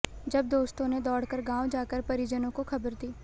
तब दोस्तों ने दौड़कर गांव जाकर परिजनों को खबर दी